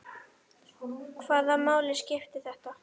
Hvaða máli skipti þetta?